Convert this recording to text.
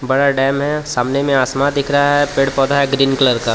बड़ा डेम है सामने मे आसमा दिख रहा है पेड़ पौधा है ग्रीन कलर का.